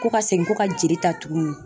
Ko ka segin ko ka jeli ta tuguni.